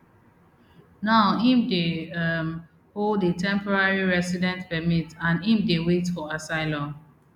now im dey um hold a temporary resident permit and im dey wait for asylum